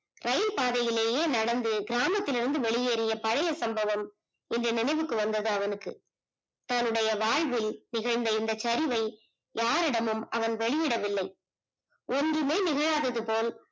இரயில் பாதையிலயே நடந்து கிராமத்தில் இருந்து வெளி ஏறிய பழைய சம்பவம் கொஞ்சம் நினைவுக்கு வந்தது அவனுக்கு தன்னுடைய வாழ்வில் நிகழந்த இந்த சரிவை யாரிடமும் அவன் வெளியிடவில்லை ஒன்றுமே நிகலாதது போல்